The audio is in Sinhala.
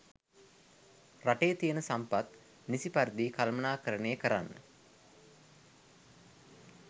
රටේ තියන සම්පත් නිසි පරිදි කළමණාකරණය කරන්න